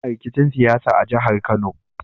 Ana rikicin siyasa a jahar kano